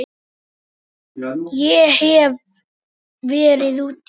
Ég hef verið úti.